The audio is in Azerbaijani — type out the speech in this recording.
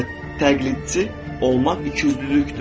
Və təqlidçi olmaq ikiüzlülükdür.